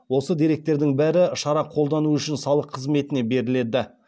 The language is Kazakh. осы деректердің бәрі шара қолдану үшін салық қызметіне беріледі